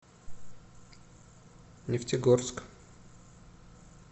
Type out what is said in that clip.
нефтегорск